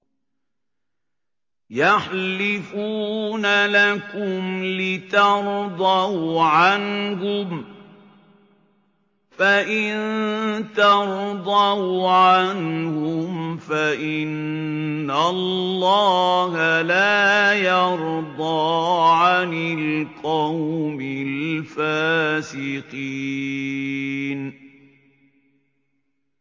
يَحْلِفُونَ لَكُمْ لِتَرْضَوْا عَنْهُمْ ۖ فَإِن تَرْضَوْا عَنْهُمْ فَإِنَّ اللَّهَ لَا يَرْضَىٰ عَنِ الْقَوْمِ الْفَاسِقِينَ